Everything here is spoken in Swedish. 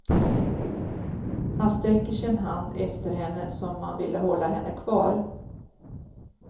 Han sträcker sin hand efter henne som om han ville hålla henne kvar.